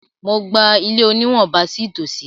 Mo gba ilé oníwọ̀ba sí ìtòsí.